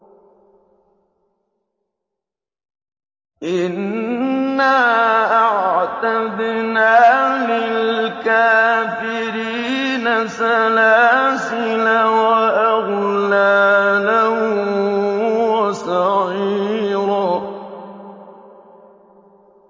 إِنَّا أَعْتَدْنَا لِلْكَافِرِينَ سَلَاسِلَ وَأَغْلَالًا وَسَعِيرًا